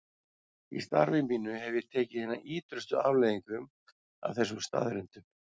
Í starfi mínu hef ég tekið hinum ýtrustu afleiðingum af þessum staðreyndum.